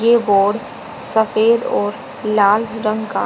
ये बोर्ड सफेद और लाल रंग का--